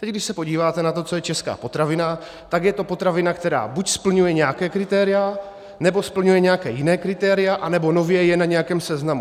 Teď když se podíváte na to, co je česká potravina, tak je to potravina, která buď splňuje nějaká kritéria, nebo splňuje nějaká jiná kritéria, anebo nově je na nějakém seznamu.